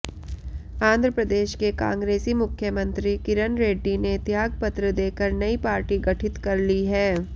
आंध्रप्रदेश के कांगे्रसी मुख्यमंत्री किरण रेड्डी ने त्यागपत्र देकर नई पार्टी गठित कर ली है